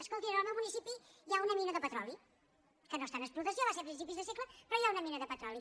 escoltin en el meu municipi hi ha una mina de petroli que no està en explotació va ser a principis de segle però hi ha una mina de petroli